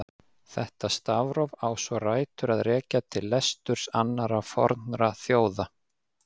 Það stafróf á svo rætur að rekja til leturs annarra fornra þjóða.